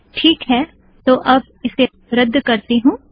teak है तो अब इसे रद्द करती हूँ